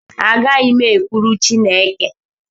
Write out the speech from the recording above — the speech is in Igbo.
Agaghị m ekwulu Chịneke